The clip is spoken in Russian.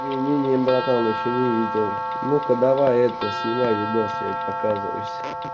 не не не братан ещё не видел ну-ка давай это снимай видос я показываюсь